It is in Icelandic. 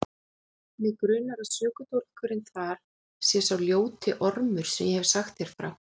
Mig grunar að sökudólgurinn þar sé sá ljóti ormur sem ég hef sagt þér frá.